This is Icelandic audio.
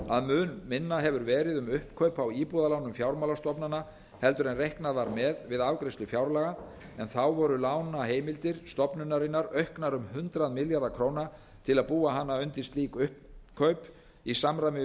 að mun minna hefur verið um uppkaup á íbúðalánum fjármálastofnana heldur en reiknað var með við afgreiðslu fjárlaga en þá voru lánaheimildir stofnunarinnar auknar um hundrað milljarða króna til að búa hana undir slík uppkaup í samræmi við